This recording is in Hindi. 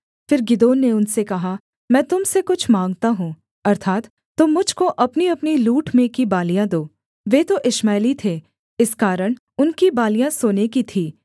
फिर गिदोन ने उनसे कहा मैं तुम से कुछ माँगता हूँ अर्थात् तुम मुझ को अपनीअपनी लूट में की बालियाँ दो वे तो इश्माएली थे इस कारण उनकी बालियाँ सोने की थीं